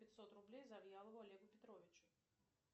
пятьсот рублей завьялову олегу петровичу